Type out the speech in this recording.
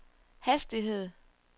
hastighed